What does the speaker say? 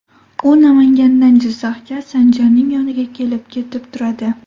U Namangandan Jizzaxga Sanjarning yoniga kelib-ketib turadi.